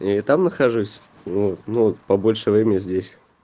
и там нахожусь ну ну вот побольше времени здесь